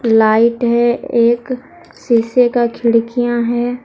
Light है एक शीशे का खिड़कियां हैं।